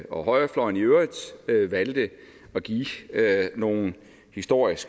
og højrefløjen i øvrigt valgte at give nogle historisk